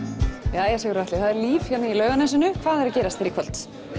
jæja Sigurður Atli það er líf hérna í Laugarnesinu hvað er að gerast hér í kvöld